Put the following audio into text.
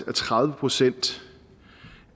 at tredive procent